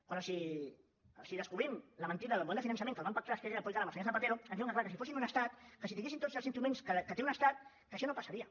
quan els descobrim la mentida del model de finançament que el van pactar esquerra republicana amb el senyor zapatero ens diuen que clar que si fossin un estat que si tinguessin tots els instruments que té un estat que això no passaria